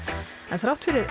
en þrátt fyrir